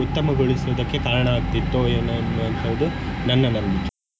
ಉತ್ತಮಗೋಳಿಸುವುದಕ್ಕೆ ಕಾರಣವಾಗ್ತಿತ್ತೋ ಏನೋ ಅನ್ನುವಂತದು ನನ್ನ ಮನವಿ.